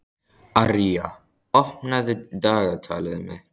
Arja, opnaðu dagatalið mitt.